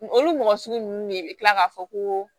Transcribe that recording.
Olu mɔgɔ sugu ninnu de bɛ kila k'a fɔ ko